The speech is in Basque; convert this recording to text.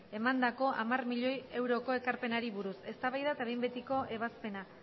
egindako hamar milioi euroko ekarpenari buruz eztabaida eta behin betiko ebazpena